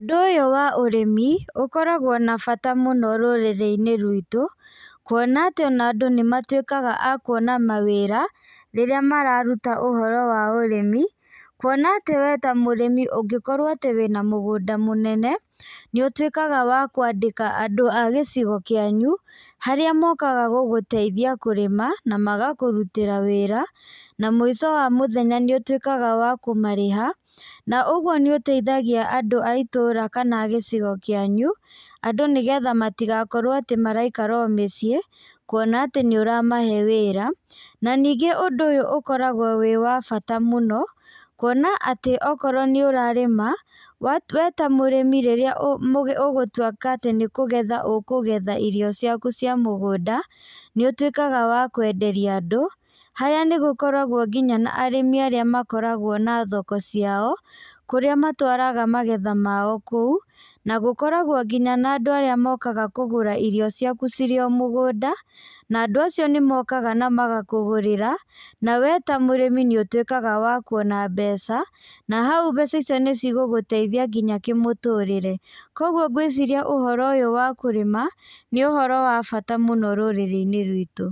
Ũndũ ũyũ wa ũrĩmi ũkoragwo na bata mũno rũrĩrĩ-inĩ rwitũ kuona atĩ ona andũ nĩmatuĩkaga a kuona mawĩra rĩrĩa mararuta ũhoro wa ũrĩmi. Kuona atĩ we ta mũrĩmi ungĩkorwo atĩ wĩna mũgũnda mũnene, nĩũtuĩkaga wa kwandĩka andũ a gĩcigo kĩanyu, harĩ mokaga gũgũteithia kũrĩma na magakũrutĩra wĩra na mũico wa mũthenya nĩ ũtuĩkaga wa kũmarĩha. Na ũguo nĩ ũteithagia andũ a itũũra kana a gĩcigo gĩa kwanyu. Andũ nigetha matigakorwo atĩ maraikara o mĩciĩ kuona atĩ nĩ uramahe wĩra. Na ningĩ ũndũ ũyũ ũkoragwo wĩ wa bata mũno kuona atĩ okorwo nĩ ũrarĩma, we ta mũrĩmi rĩrĩa ũgũtuĩka atĩ nĩkũgetha ũkũgetha irio ciaku cia mũgũnda, nĩ ũtuĩkaga wa kwenderia andũ. Harĩa nĩgũkoragwo nginya na arĩmi arĩa makoragwo na thoko ciao, kũrĩa matũaraga magetha mao kũu. Na gũkoragwo nginya na andũ arĩa nginya mokaga kũgũra irio ciaku cirĩ o mũgũnda, na andũ acio nĩ mokaga na magakũgũrĩra. Na we ta mũrĩmi nĩ ũtuĩkaga wa kuona mbeca. Na hau mbeca icio nĩcigũgũteithia nginya kĩmũtũrĩre. Koguo ngwĩciria ũndũ ũyũ wa kũrĩma nĩ ũhoro wa bata mũno rũrĩrĩ-inĩ rwitũ.